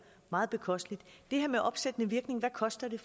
meget bekosteligt det her med opsættende virkning hvad koster det